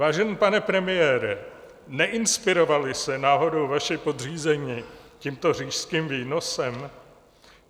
Vážený pane premiére, neinspirovali se náhodou vaši podřízení tímto říšským výnosem?